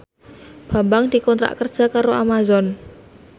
Bambang dikontrak kerja karo Amazon